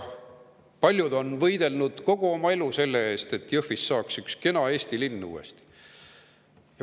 Paljud on võidelnud kogu oma elu selle nimel, et Jõhvist saaks üks kena Eesti linn uuesti.